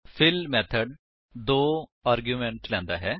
fill method ਦੋ arguments ਲੈਂਦਾ ਹੈ